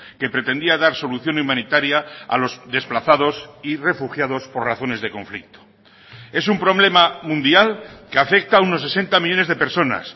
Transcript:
que pretendía dar solución humanitaria a los desplazados y refugiados por razones de conflicto es un problema mundial que afecta a unos sesenta millónes de personas